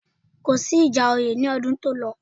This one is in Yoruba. Kò sí ìjà oyè ní ọdún tó lọ